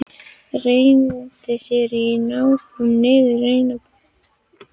Renndi sér á hnjánum niður rennibrautina.